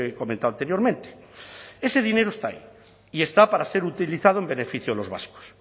comentado anteriormente ese dinero está ahí y está para ser utilizado en beneficio de los vascos